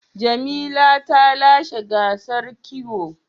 Jamila ta lashe gasar kiwo.